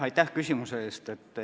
Aitäh küsimuse eest!